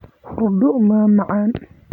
Hurdo ma macaan.